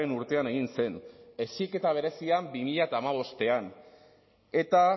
urtean egin zen heziketa berezian bi mila hamabostean eta